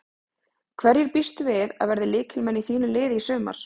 Hverjir býstu við að verði lykilmenn í þínu liði í sumar?